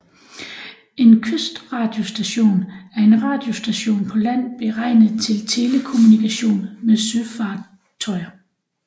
En kystradiostation er en radiostation på land beregnet til telekommunikation med søfartøjer